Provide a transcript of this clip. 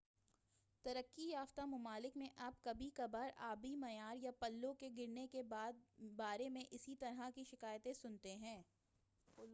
ترقی یافتہ ممالک میں آپ کبھی کبھار آبی معیار یا پلوں کے گرنے کے بارے میں اسی طرح کی شکایتیں سنتے ہیں